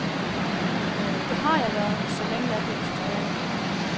Det har jeg været, så længe jeg kan huske tilbage.